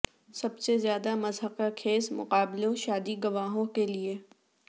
سب سے زیادہ مضحکہ خیز مقابلوں شادی گواہوں کے لئے